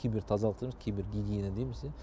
кибертазалық дейміз кибергигиена дейміз иә